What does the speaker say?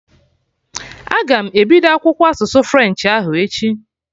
Aga m ebido akwụkwọ asụsụ french ahụ echi